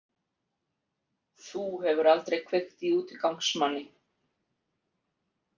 Þú hefur aldrei kveikt í útigangsmanni?